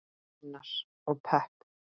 Unnar: Og pepp.